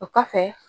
O kɔfɛ